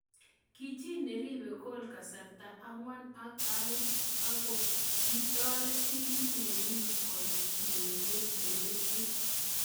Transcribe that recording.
Kichi neribe gol kasarta angwan ak eng aengbkokitoret timit nenyin koit ureriet ne letchin.